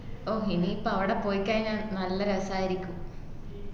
ഓ എനി ഇപ്പൊ അവിടെ പോയ് കൈഞ്ഞാൽ നല്ല രസായിരിക്കും